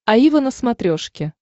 аива на смотрешке